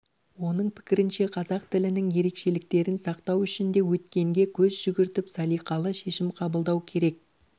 оның пікірінше қазақ тілінің ерекшеліктерін сақтау үшін де өткенге көз жүгіртіп салиқалы шешім қабылдау керек